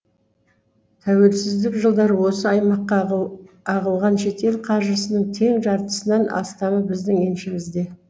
тәуелсіздік жылдары осы аймаққа ағылған шетел қаржысының тең жартысынан астамы біздің еншімізде